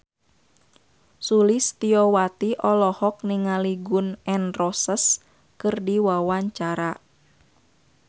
Sulistyowati olohok ningali Gun N Roses keur diwawancara